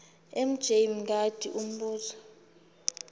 mj mngadi umbuzo